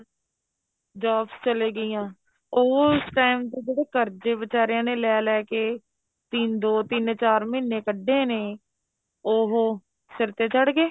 jobs ਚਲੇ ਗਈਆਂ ਉਸ time ਤੇ ਜਦੋ ਕਰਜੇ ਵਿਚਾਰਿਆ ਨੇ ਲੈ ਲੈ ਕੇ ਤਿੰਨ ਦੋ ਤਿੰਨ ਚਾਰ ਮਹੀਨੇ ਕੱਢੇ ਨੇ ਉਹ ਸਿਰ ਤੇ ਚੜ ਗਏ